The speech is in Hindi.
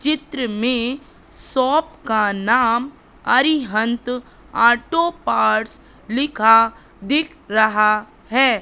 चित्र में शॉप का नाम अरिहंत ऑटो पार्ट्स लिखा दिख रहा है।